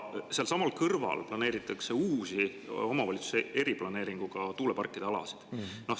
Sealsamas kõrval planeeritakse uusi omavalitsuse eriplaneeringuga tuuleparkide alasid.